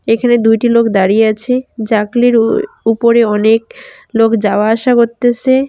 এইখানে দুইটি লোক দাঁড়িয়ে আছে জাকলির উপরে অনেক লোক যাওয়া আসা করতেসে।